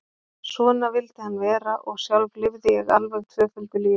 Svona vildi hann vera og sjálf lifði ég alveg tvöföldu lífi.